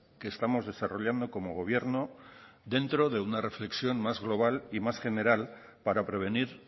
que estamos desarrollando como gobierno dentro de una reflexión más global y más general para prevenir